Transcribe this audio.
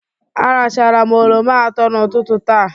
Aracharam oroma atọ n'ụtụtụ taa.